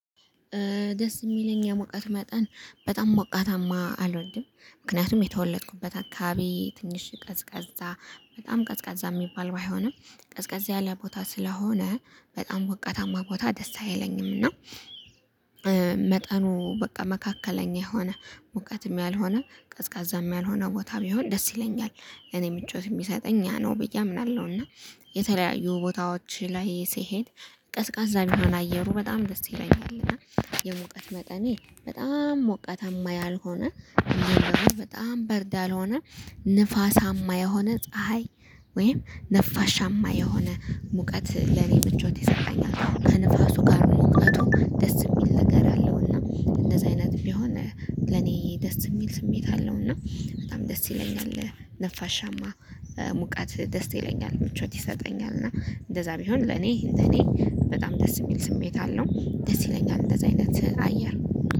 ደስ የሚለኝ የሞቀት መጠን በጣም ሞቃታማ አልወድም። ምክንያቱም የተወለድኩበት አካባቢ ትንሽ ቀዝቃዛ በጣም ቀዝቃዛ የሚባል ባይሆንም ቀዝቃዛ ያለ ቦታ ስለሆነ በጣም ወቀታማ ቦታ ደስ አይለኝም እና መጠኑ በቃ መካከለኛ የሆነ ሙቀትም ያልሆነ ቀዝቃዛም ያልሆነ ቦታ ቢሆን ደስ ይለኛል። እኔ ምቾት የሚሰጠኝ እኔ ነው ብዬ አምናለሁ። እና የተለያዩ ቦታዎች ላይ ሲሄድ ቀዝቃዛ ቢሆን አየሩ በጣም ደስ ይለኛል። እና የሙቀት መጠኔ በጣም ሙቀት ያልሆነ በጣም በርዳ ያልሆነ ንፋስ የሆነ ፀሀይ ወይም ንፋሻማ የሆነ ሙቀት ለኔ ምቾት ይሰጣኛል። ከንፋሱ ጋር ሞቀቱ ደስ የሚል ነገር አለውና እንደዚህ አይነት ቢሆን ለኔ ደስ የሚል ስሜት አለው እና በጣም ደስ ይለኛል። ነፋሻማ ሙቃት ደስ ይለኛል። ምቾት ይሰጠኛል። እና እንደዛ ቢሆን ለኔ እንደኔ በጣም ደስ የሚል ስሜት አለው። ደስ ይለኛል። እንደዛ አይነት አየር